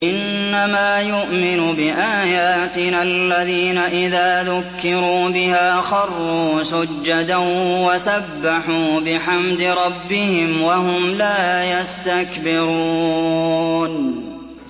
إِنَّمَا يُؤْمِنُ بِآيَاتِنَا الَّذِينَ إِذَا ذُكِّرُوا بِهَا خَرُّوا سُجَّدًا وَسَبَّحُوا بِحَمْدِ رَبِّهِمْ وَهُمْ لَا يَسْتَكْبِرُونَ ۩